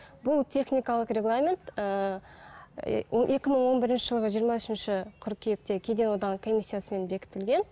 бұл техникалық регламент ііі екі мың он бірінші жылғы жиырма үшінші қыркүйекте кеден одағының комиссиясымен бекітілген